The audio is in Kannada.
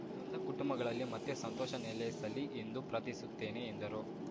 ನೊಂದ ಕುಟುಂಬಗಳಲ್ಲಿ ಮತ್ತೆ ಸಂತೋಷ ನೆಲೆಸಲಿ ಎಂದು ಪ್ರಾರ್ಥಿಸುತ್ತೇನೆ ಎಂದರು